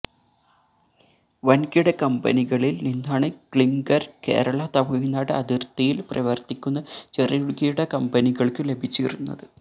വന്കിട കമ്പനികളില് നിന്നാണ് ക്ലിംഗര് കേരള തമിഴ്നാട് അതിര്ത്തിയില് പ്രവര്ത്തിക്കുന്ന ചെറുകിട കമ്പനികള്ക്ക് ലഭിച്ചിരുന്നത്